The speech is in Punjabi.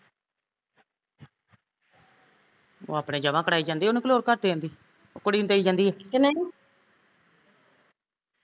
ਉਹ ਆਪਣੇ ਜਮਾ ਕਰਾਈ ਜਾਂਦੀ ਐ ਉਹਣੂ ਕੀ ਲੋੜ ਘਰ ਦੇਣ ਦੀ ਕੁੜੀ ਨੂ ਦੇਈ ਜਾਂਦੀ